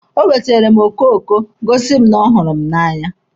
O weteere m okoko Ị gosi m na ọ hụrụ m n'anya.